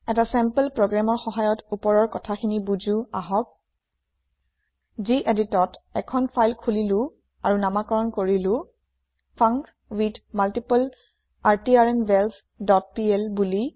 এটা চেম্পল প্ৰগ্ৰেমৰ সহায়ত উপৰৰ কথাখিনি বুজো আহক যিএদিটত এখন ফাইল খোলিলো আৰু নামাকৰণ কৰিলো ফাংকুইথমাল্টিপ্লাৰট্ৰ্নভালছ ডট পিএল বুলি